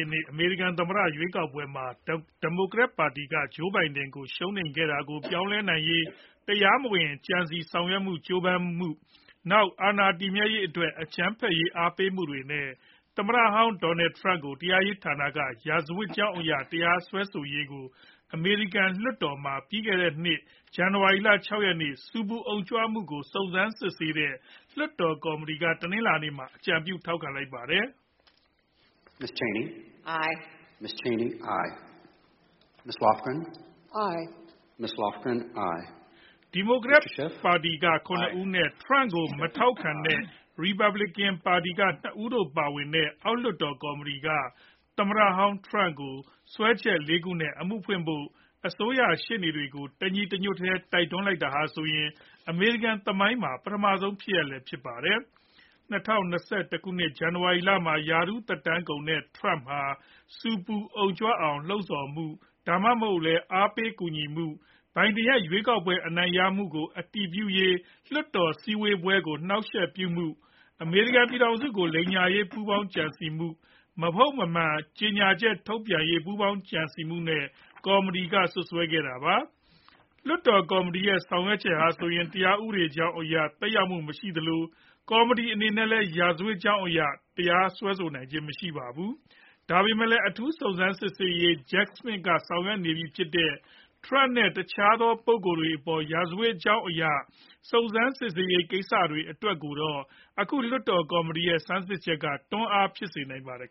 ည့်နှစ် အမေရိကန် သမ္မတ ရွေးကောက်ပွဲမှာ ဒီမိုကရက်ပါတီက Joe Biden ကို ရှုံးနိမ့်တာကို ပြောင်းလဲနိုင်ရေး တရားမဝင် ကြံစည်ဆောင်ရွက်ဖို့ ကြိုးပမ်းမှု၊ နောက် အာဏာတည်မြဲရေး အတွက် အကြမ်းဖက်ရေး အားပေးမှုတွေနဲ့ သမ္မတဟောင်း Donald Trump ကို တရားရေး ဌာနက ရာဇဝတ်ကြောင်း အရ တရားစွဲဆိုရေးကို အမေရိကန် လွှတ်တော်မှာ ပြီးခဲ့တဲ့နှစ် ဇန်နဝါရီလ ၆ ရက်နေ့ ဆူပူ အုံကြွမှုကို စုံစမ်းစစ်ဆေးခဲ့တဲ့ လွှတ်တော် ကော်မတီက တနလာၤနေ့မှာ အကြံပြု ထောက်ခံ လိုက်ပါတယ်။ ဒီမိုကရက်အမတ် ၇ ဦးနဲ့ Trump ကို မထောက်ခံတဲ့ ရီပတ်ပလီကန်အမတ် ၂ ဦးတို့ပါတဲ့ အောက်လွှတ်တော် ကော်မတီက သမ္မတဟောင်း Trump ကို စွဲချက် ၄ ခုနဲ့ အမှုဖွင့်ဖို့ အစိုးရ ရှေ့နေတွေကို တညီတညွတ်တည်း တိုက်တွန်းလိုက်တာဟာဆိုရင် အမေရိကန် သမိုင်းမှာ ပထမဆုံး ဖြစ်ရပ်လည်း ဖြစ်ပါတယ်။ ၂၀၂၁ ခုနှစ် ဇန်နဝါရီလမှာ ရာထူး သက်တမ်းကုန်တဲ့ Trump ဟာ ဆူပူအုံကြွအောင် လှုံ့ဆော်မှု ဒါမှမဟုတ်လည်း အားပေး ကူညီမှု၊ Biden ရဲ့ ရွေးကောက်ပွဲ အနိုင်ရမှုကို အတည်ပြုရေး လွှတ်တော် စည်းဝေးပွဲကို အနှောင့်အယှက် ပြုမှု၊ အမေရိကန် ပြည်ထောင်စုကို လိမ်ညာရေး ပူးပေါင်းကြံစည်မှု၊ မဟုတ်မမှန် ကြေညာချက်ထုတ်ရေး ပူးပေါင်းကြံစည်မှုတွေနဲ့ ကော်မတီက စွပ်စွဲထားတာပါ။ လွှတ်တော် ကော်မတီရဲ့ ဆောင်ရွက်ချက်ဟာဆိုရင် တရားဥပဒေကြောင်း အရ သက်ရောက်မှု မရှိသလို ကော်မတီ အနေနဲ့လည်း ရာဇဝတ်ကြောင်း အရ မစွဲဆိုနိုင်ပါဘူး။ ဒါပေမဲ့လည်း အထူးစုံစမ်းရေးမှူး Jack Smith က ဆောင်ရွက်နေပြီ ဖြစ်တဲ့ Trump နဲ့ တခြားသော ပုဂ္ဂိုလ်တွေ အပေါ် ရာဇဝတ်ကြောင်း အရာ စုံစမ်းစစ်ဆေးနေဆဲ ကိစ္စတွေ အတွက်တော့ အခု လွှတ်တော် ကော်မတီရဲ့ ဆန်းစစ်ချက်က တွန်းအား ဖြစ်စေနိုင်ပါတယ်